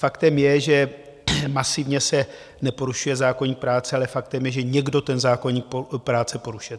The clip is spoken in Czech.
Faktem je, že masivně se neporušuje zákoník práce, ale faktem je, že někdo ten zákoník práce porušuje.